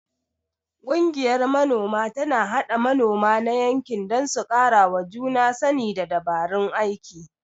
Ƙungiyar Manoma tana haɗa manoma na yankin don su karawa juna sani da dabarun aiki.